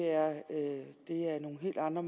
andre